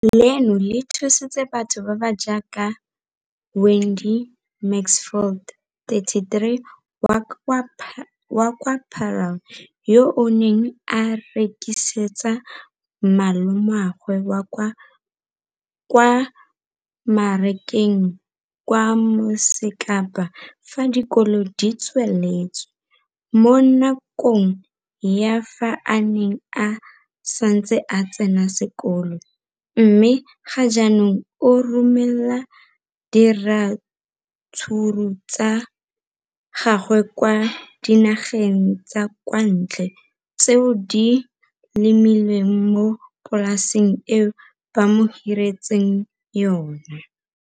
Leno le thusitse batho ba ba jaaka Wayne Mansfield, 33, wa kwa Paarl, yo a neng a rekisetsa malomagwe kwa Marakeng wa Motsekapa fa dikolo di tswaletse, mo nakong ya fa a ne a santse a tsena sekolo, mme ga jaanong o romela diratsuru tsa gagwe kwa dinageng tsa kwa ntle tseo a di lemileng mo polaseng eo ba mo hiriseditseng yona.